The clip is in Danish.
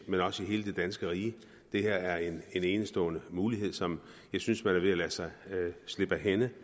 men også i hele det danske rige det her er en enestående mulighed som jeg synes man er ved at lade sig slippe af hænde